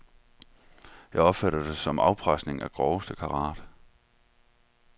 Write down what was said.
Jeg opfatter det som afpresning af groveste karat.